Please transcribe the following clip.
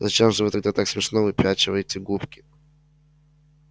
зачем же вы тогда так смешно выпячиваете губки